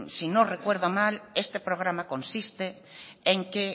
si no recuerdo mal este programa consiste en que